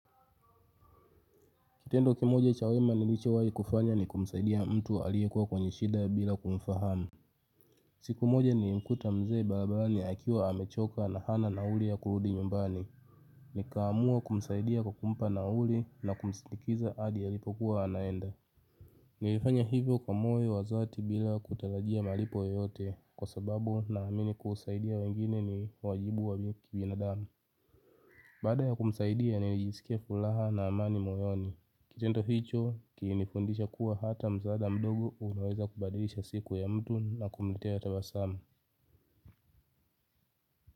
Kitendo kimoja cha wema nilichowai kufanya ni kumsaidia mtu aliyekuwa kwenye shida bila kumfahamu. Siku moja nilimkuta mzee barabarani akiwa amechoka na hana nauli ya kurudi nyumbani. Nikaamua kumsaidia kwa kumpa nauli na kumsindikiza adi yalipokuwa yanaenda. Nilifanya hivyo kwa moyo wa zati bila kutalajia malipo yoyote kwa sababu naamini kusaidia wengine ni wajibu wa kibinadamu. Baada ya kumsaidia najisikia fulaha na amani moyoni. Kitendo hicho kilinifundisha kuwa hata msaada mdogo unaweza kubadilisha siku ya mtu na kumtea tabasamu.